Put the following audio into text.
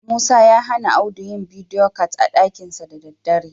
Musa ya hana Audu yi bidiyo cat a ɗakinsa da daddare.